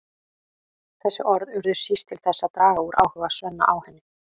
Þessi orð urðu síst til þess að draga úr áhuga Svenna á henni.